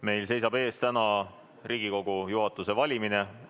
Meil seisab täna ees Riigikogu juhatuse valimine.